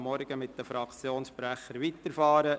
Wir fahren morgen mit den Fraktionssprechern weiter.